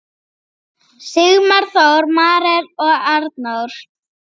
Sigmar Þór, Marel og Arnór.